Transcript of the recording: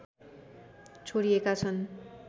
छोडिएका छन्